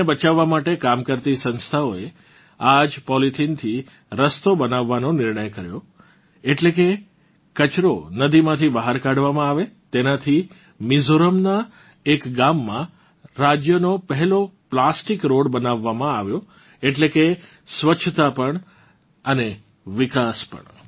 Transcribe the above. નદીને બચાવવા માટે કામ કરતી સંસ્થાએ આ જ પોલીથીનથી રસ્તો બનાવવાનો નિર્ણય લીધો એટલે કે જે કચરો નદીમાંથી બહાર કાઢવામાં આવે તેનાંથી મિજોરમનાં એક ગામમાં રાજ્યનો પહેલો પ્લાસ્ટિક રોડ બનાવવામાં આવ્યો એટલે કે સ્વસ્છતા પણ અને વિકાસ પણ